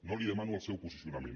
no li demano el seu posicionament